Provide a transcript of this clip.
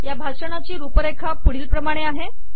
या भाषणाची रुपरेखा पुढीलप्रमाणे आहे